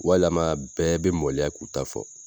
Walama bɛɛ bɛ maloya k'u ta fɔ.